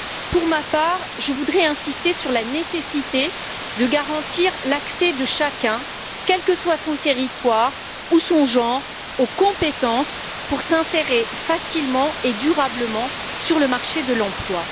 Pour ma part, je voudrais insister sur la nécessité de garantir l'accès de chacun aux compétences, quel que soit son territoire ou son genre, pour s'insérer facilement et durablement sur le marché de l'emploi.